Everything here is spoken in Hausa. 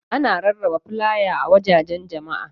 Ana rarraba flaya a wuraren jama'a.